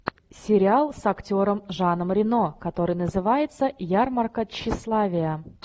сериал с актером жаном рено который называется ярмарка тщеславия